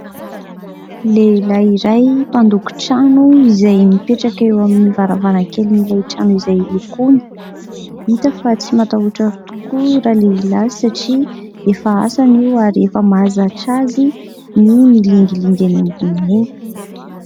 Lehilahy iray mpandoko trano izay mipetraka eo amin'ny varavarankelin'ilay trano izay lokoiny. Hita fa tsy matahotra tokoa ralehilahy satria efa asany io ary efa mahazatra azy ny milingilingy eny ambony eny.